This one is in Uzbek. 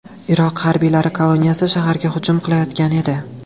Iroq harbiylari kolonnasi shaharga hujum qilayotgan edi.